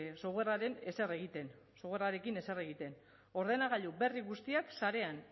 softwarearekin ezer egiten ordenagailu berri guztiak sarean